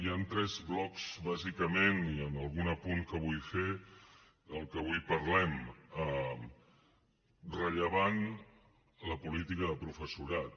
hi han tres blocs bàsicament i algun apunt que vull fer del que avui parlem rellevant la política de professorat